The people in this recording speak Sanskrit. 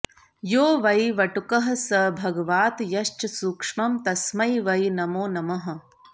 यो वै वटुकः स भगवात् यश्च सूक्ष्मं तस्मै वै नमो नमः